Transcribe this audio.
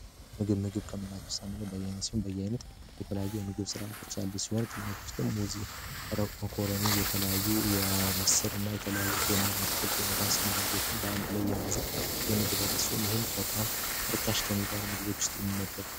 ምግብ ምግብ ከምላቸው ሳንኛው በያይነስሆን በያይነት የተለዩ የምግብ ስርዓቶች ያሉ ሲሆን ክልመት ወርትም ሙዚ መኮርኒ የተለዩ የምስር እና የተለያዩ ጎመና አትክልት የመታስሉ ምግቦችን በአንድ ላይ የያዘ የምግብ አይነት ሲሆን ይህም በጣም ርካሽ ከሚባሉ ምግቦች ውስጥ የሚመደብም ነው።